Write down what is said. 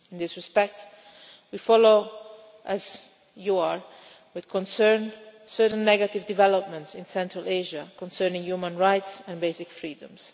In this respect, like you, we are following with concern certain negative developments in Central Asia concerning human rights and basic freedoms.